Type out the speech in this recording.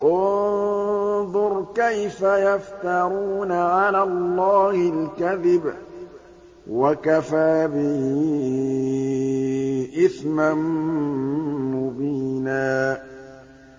انظُرْ كَيْفَ يَفْتَرُونَ عَلَى اللَّهِ الْكَذِبَ ۖ وَكَفَىٰ بِهِ إِثْمًا مُّبِينًا